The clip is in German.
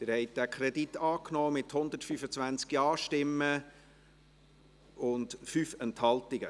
Sie haben diesen Kredit angenommen, mit 125 Ja- gegen 0 Nein-Stimmen bei 5 Enthaltungen.